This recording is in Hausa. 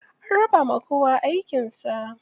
An rabawa kowa aikin sa.